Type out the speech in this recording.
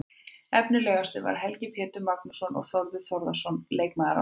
Efnilegastur var Helgi Pétur Magnússon og Þórður Þórðarson var leikmaður ársins.